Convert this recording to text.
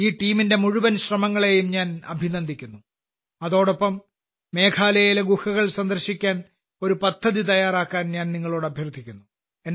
ഈ ടീമിന്റെ മുഴുവൻ ശ്രമങ്ങളെയും ഞാൻ അഭിനന്ദിക്കുന്നു അതോടൊപ്പം മേഘാലയയിലെ ഗുഹകൾ സന്ദർശിക്കാൻ ഒരു പദ്ധതി തയ്യാറാക്കാൻ ഞാൻ നിങ്ങളോട് അഭ്യർത്ഥിക്കുന്നു